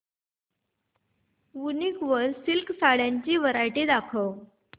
वूनिक वर सिल्क साड्यांची वरायटी दाखव